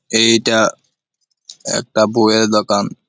এইটা-আ একটা বইয়ের দোকান।